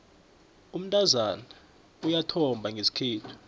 umntazana uyathomba ngesikhethu